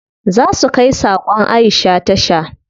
Za su kai sakon Aisha tasha.